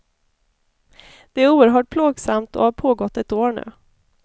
Det är oerhört plågsamt och har pågått ett år nu.